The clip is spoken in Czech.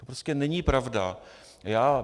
To prostě není pravda.